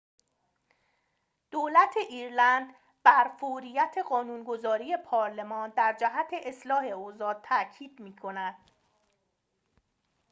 دولت ایرلند بر فوریت قانون‌گذاری پارلمان در جهت اصلاح اوضاع تأکید دارد